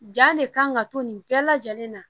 Ja le kan ka to nin bɛɛ lajɛlen na